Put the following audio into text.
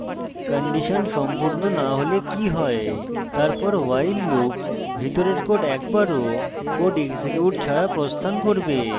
condition সম্পূর্ণ so হলে কি হয় তারপর while loop ভিতরের code একবারও code এক্সিকিউট ছাড়া প্রস্থান করবে